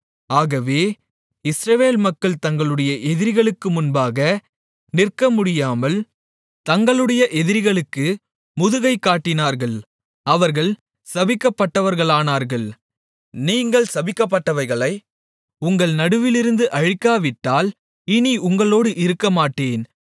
ஆகவே இஸ்ரவேல் மக்கள் தங்களுடைய எதிரிகளுக்கு முன்பாக நிற்க முடியாமல் தங்களுடைய எதிரிகளுக்கு முதுகைக் காட்டினார்கள் அவர்கள் சபிக்கப்பட்டவர்களானார்கள் நீங்கள் சபிக்கப்பட்டவைகளை உங்கள் நடுவிலிருந்து அழிக்காவிட்டால் இனி உங்களோடு இருக்கமாட்டேன்